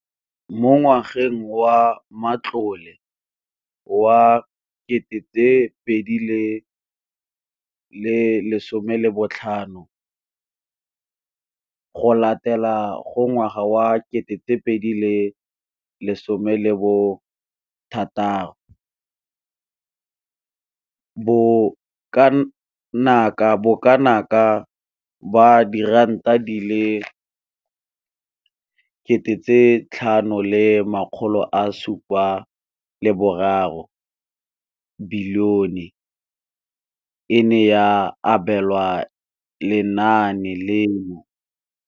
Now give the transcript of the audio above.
Mo ngwageng wa matlole wa 2015,16, bokanaka R5 703 bilione e ne ya abelwa lenaane leno.